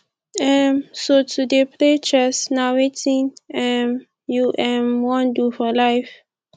um so to dey play chess na wetin um you um wan do for life